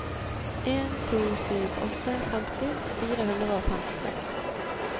en to sju åtte femti fire hundre og femtiseks